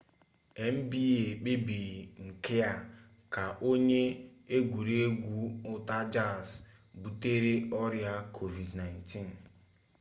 nba kpebiri nke a ka onye egwuregwu utah jazz butere ọrịa covid-19